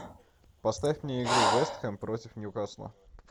поставь мне игру вест хэм против ньюкасла